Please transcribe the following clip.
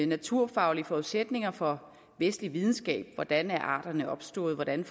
naturfaglige forudsætninger for vestlig videnskab hvordan arterne er opstået hvordan